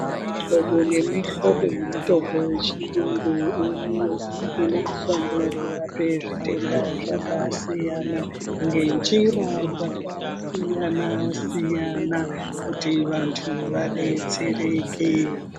Mihlobo nemihlobo yemitombo yechirungu iriyo inoshanda kurapa zvitenda zvakasiyana ngenjira dzakasiyana siyana kuti vantu vadetsereke.